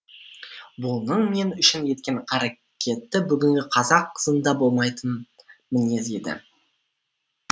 бұның мен үшін еткен қарекеті бүгінгі қазақ қызында болмайтын мінез еді